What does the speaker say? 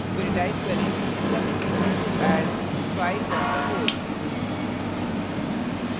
फिर type करें sum = add 54;